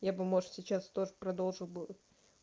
я бы может сейчас тоже продолжу